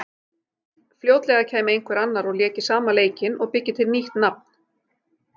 Fljótlega kæmi einhver annar og léki sama leikinn og byggi til nýtt nafn.